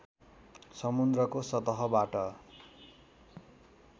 समुद्रको सतहबाट